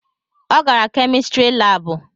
Ọ gara kemistri labu